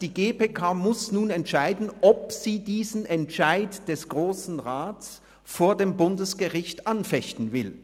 Die GPK muss nun entscheiden, ob sie diesen Entscheid des Grossen Rats vor dem Bundesgericht anfechten will.